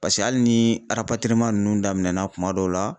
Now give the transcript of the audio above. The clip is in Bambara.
Paseke hali ni ninnu daminɛna kuma dɔw la.